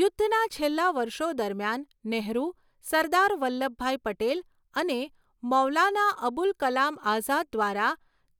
યુદ્ધના છેલ્લા વર્ષો દરમિયાન, નેહરુ, સરદાર વલ્લભભાઈ પટેલ અને મૌલાના અબુલ કલામ આઝાદ દ્વારા